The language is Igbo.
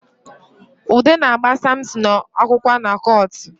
Ude na-agba Samson akwụkwọ na kọọtụ